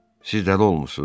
Siz dəli olmusunuz?